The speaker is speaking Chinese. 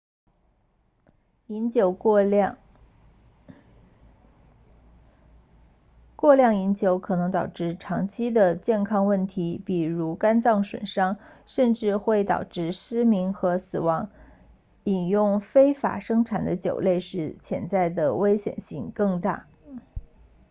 过量饮酒可能导致长期的健康问题比如肝脏损伤甚至会导致失明和死亡饮用非法生产的酒类时潜在的危险性更大